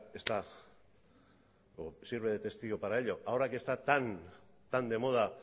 está o sirve de testigo para ello ahora que están tan de moda